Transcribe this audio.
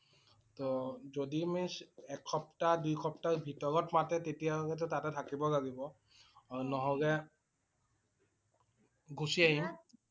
ত যদি means এক সপ্তাহ দুই সপ্তাহ ভিতৰত মাতে তেতিয়া হলেটো তাতে থাকিব লাগিব। আৰু নহলে গুচি আহিম